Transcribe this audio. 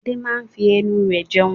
Adé máa ń fi ẹnu rẹ̀ jẹun.